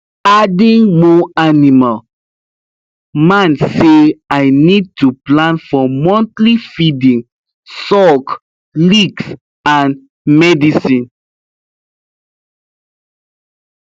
adding more animal man say i need to plan for monthly feeding salk licks and medicine